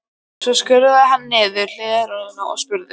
Svo skrúfaði hann niður hliðarrúðuna og spurði